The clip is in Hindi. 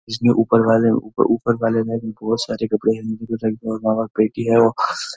जिसमें ऊपर वाले ऊपर-ऊपर वाले में भी बहुत सारे कपड़े हैं जिसमे नामक पेटी है --।